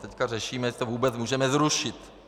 Teď řešíme, jestli to vůbec můžeme zrušit.